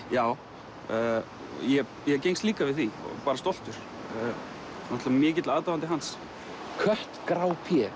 já ég gengst líka við því bara stoltur náttúrulega mikill aðdáandi hans kött grá